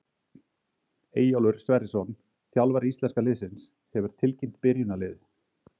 Eyjólfur Sverrisson, þjálfari íslenska liðsins, hefur tilkynnt byrjunarliðið.